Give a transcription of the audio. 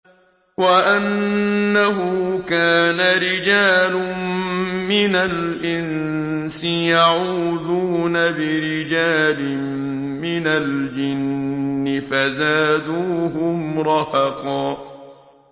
وَأَنَّهُ كَانَ رِجَالٌ مِّنَ الْإِنسِ يَعُوذُونَ بِرِجَالٍ مِّنَ الْجِنِّ فَزَادُوهُمْ رَهَقًا